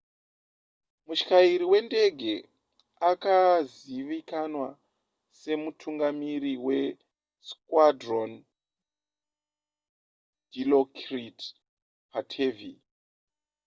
mutyairi wendege akazivikanwa semutungamiri wesquadron dilokrit pattavee